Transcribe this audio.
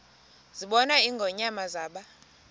zabona ingonyama zaba